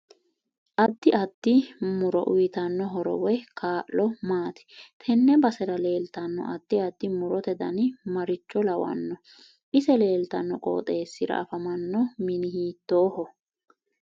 Addi addi muro uyiitanno horo woy kaa'lo maati tenne basera leeltanno addi addi murote dani maricho lawanno ise leeltanno qoxeesira afamanno mini hiitooho